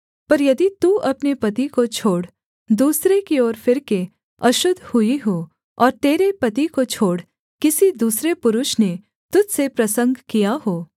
पर यदि तू अपने पति को छोड़ दूसरे की ओर फिरके अशुद्ध हुई हो और तेरे पति को छोड़ किसी दूसरे पुरुष ने तुझ से प्रसंग किया हो